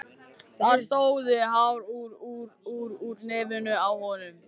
Það stóðu hár út úr nefinu á honum.